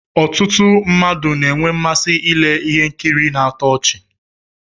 Ọtụtụ mmadụ na-enwe mmasị ile ihe nkiri na-atọ ọchi.